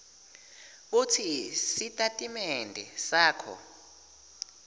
kutsi sitatimende sakho